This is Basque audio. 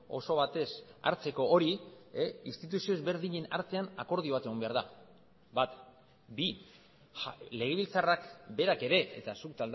oso batez hartzeko hori instituzio ezberdinen artean akordio bat egon behar da bat bi legebiltzarrak berak ere eta zuk